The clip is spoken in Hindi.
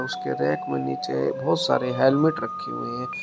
उसके रैक में नीचे बहोत सारे हेलमेट रखे हुए है।